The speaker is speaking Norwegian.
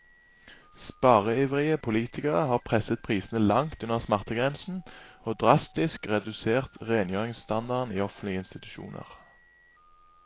Spareivrige politikere har presset prisene langt under smertegrensen, og drastisk redusert rengjøringsstandarden i offentlige institusjoner.